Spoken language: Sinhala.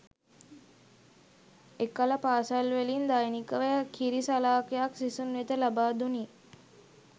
එකල පාසැල් වලින් දෛනිකව කිරි සලාකයක් සිසුන් වෙත ලබා දුනි